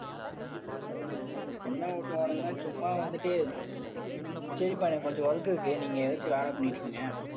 என்ன ஓட்டுவானுங்கன்னா சும்மா வந்துட்டு சரிப்பா எனக்கு கொஞ்சம் work இருக்கு நீங்க ஏதாச்சும் வேலை பண்ணிட்டு இருங்க.